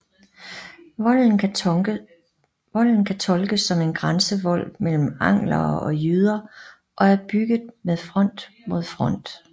Volden kan tolkes som en grænsevold mellem anglere og jyder og er bygget med front mod nord